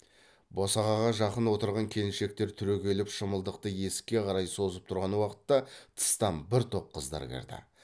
босағаға жақын отырған келіншектер түрегеліп шымылдықты есікке қарай созып тұрған уақытта тыстан бір топ қыздар кірді